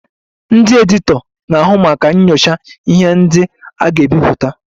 Ndị editọ na-ahụ maka nyochaa ihe ndị a ga-ebipụta